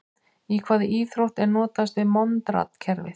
Í hvaða íþrótt er notast við Monrad-kerfið?